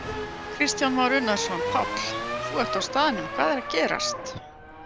Kristján Már Unnarsson: Páll, þú ert á staðnum, hvað er að gerast?